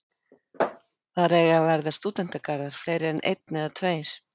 Þar eiga að verða stúdentagarðar, fleiri en einn eða tveir.